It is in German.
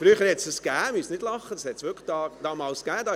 Sie brauchen nicht zu lachen, früher gab’s das tatsächlich.